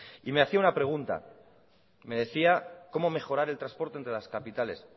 y me hacía una pregunta me decía cómo mejorar el transporte entre las capitales